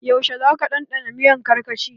Yaushe za ka ɗanɗana miyan karkashi?